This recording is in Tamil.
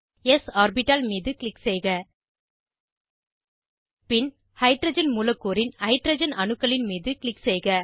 ஸ் ஆர்பிட்டால் மீது க்ளிக் செய்க பின் ஹைட்ரஜன் மூலக்கூறின் ஹைட்ரஜன் அணுக்களின் மீது க்ளிக் செய்க